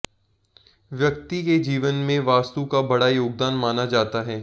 व्यक्ति के जीवन में वास्तु का बड़ा योगदान माना जाता है